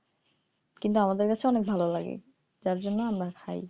কিন্তু আমাদের কাছে অনেক ভালো লাগে যার জন্য আমরা খাই